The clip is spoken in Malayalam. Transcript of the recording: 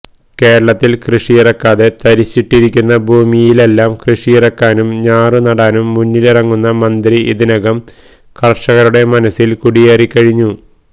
കേരളത്തിൽ കൃഷിയിറക്കാതെ തരിശിട്ടിരിക്കുന്ന ഭൂമിയിലെല്ലാം കൃഷിയിറക്കാനും ഞാറുനടാനും മുന്നിലിറങ്ങുന്ന മന്ത്രി ഇതിനകം കർഷകരുടെ മനസ്സിൽ കുടിയേറിക്കഴിഞ്ഞു